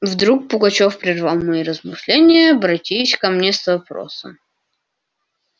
вдруг пугачёв прервал мои размышления обратись ко мне с вопросом